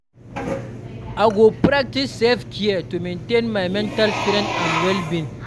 I go practice self-care to maintain my mental strength and well-being.